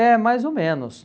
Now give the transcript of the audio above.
É, mais ou menos.